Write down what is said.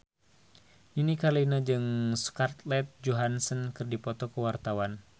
Nini Carlina jeung Scarlett Johansson keur dipoto ku wartawan